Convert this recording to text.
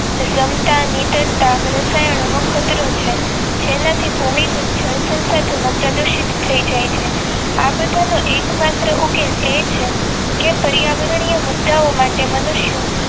નિતાર રસાયણો નો કચરો છે જેના થી ભૂમિ અને જળસંસાધન નો પ્રદૂષિત થઈ જાય છે આ બધીજ નો એક માત્ર ઉકેલ કે પર્યાવરણીય મુદા માટે મનુષ્યો